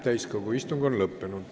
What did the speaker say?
Täiskogu istung on lõppenud.